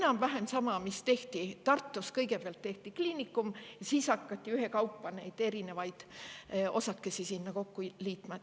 No enam-vähem samamoodi, nagu tehti Tartus: kõigepealt tehti kliinikum ja siis hakati ühekaupa erinevaid osakesi sinna kokku liitma.